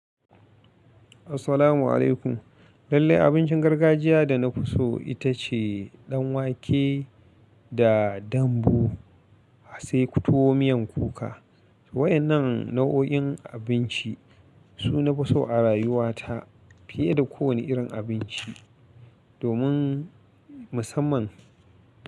Assalamu alaikum. Lallai abincin gargajiya da na fi so ita ce ɗanwake da dambu, sai kutwo miyan kuka. Waɗannan nau'o'in abinci su na fi so a rayuwata fiye da kowane irin abinci. Domin musamman.